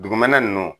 Dugumɛnɛ ninnu